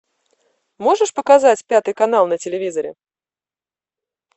можешь показать пятый канал на телевизоре